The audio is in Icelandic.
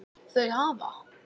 Þau hafa